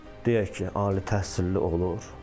Deyək ki, ali təhsilli olur.